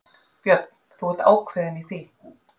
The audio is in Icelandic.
Björn: Þú ert ákveðinn í því?